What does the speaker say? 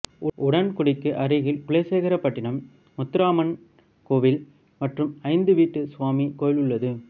உடன்குடிக்கு அருகில் குலசேகரபட்டினம் முத்தாரம்மன் கோவில் மற்றும் ஐந்துவீட்டு சுவாமி கோவில் உள்ளது